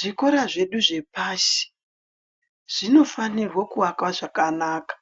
Zvikora zvedu zvepashi zvinofanirwe kuakwa zvakanaka